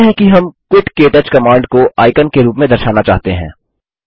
मानते हैं कि हम क्विट क्टच कमांड को आइकन के रूप में दर्शाना चाहते हैं